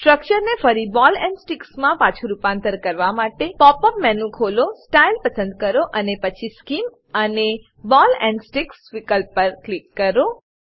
સ્ટ્રક્ચરને ફરી ball and stick મા પાછુ રૂપાંતર કરવા માટે પોપ અપ મેનુ ખોલો સ્ટાઇલ પસંદ કરોઅને પછી સ્કીમ અને બૉલ એન્ડ સ્ટિક વિકલ્પ પર ક્લિક કરો